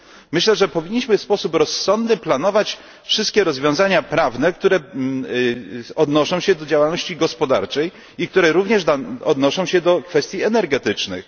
Myślę, że powinniśmy w sposób rozsądny planować wszystkie rozwiązania prawne, które odnoszą się do działalności gospodarczej, jak również do kwestii energetycznych.